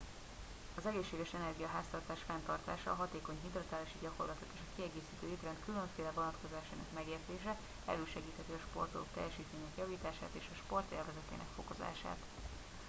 az egészséges energiaháztartás fenntartása a hatékony hidratálási gyakorlatok és a kiegészítő étrend különféle vonatkozásainak megértése elősegítheti a sportolók teljesítményének javítását és a sport élvezetének fokozását